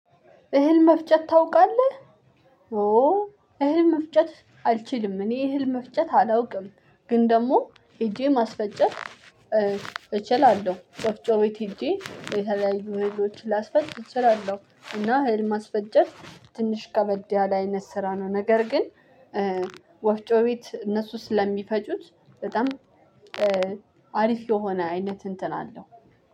እህል መፍጨት ታውቃለህ። ኦ። እህል መፍጨት አልችልም እኔ እህል መፍጨት አላውቅም። ግን ደግሞ ሄጄ ማስፈጨት እችላለሁ። ወፍጮ ቤት ሂጄ የተለያዩ ነገሮችን ላስፈጭ እችላለሁ። እና እህል ማስፈጨት ትንሽ ከበድ ያለ ስራ ነው። ነገር ግን ወፍጮ ቤት እነሱ ስለሚፈጩት በጣም አሪፍ የሆነ አይነት እንትን አለው።